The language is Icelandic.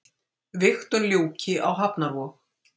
Vigtun ljúki á hafnarvog